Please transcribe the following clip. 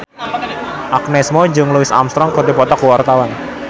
Agnes Mo jeung Louis Armstrong keur dipoto ku wartawan